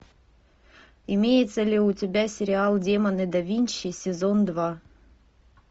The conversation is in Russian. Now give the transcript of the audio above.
имеется ли у тебя сериал демоны да винчи сезон два